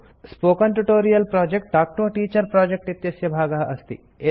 spoken tutorial project talk to a teacher project इत्यस्य भागः अस्ति